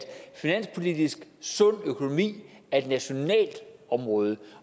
finanspolitisk sund økonomi er et nationalt område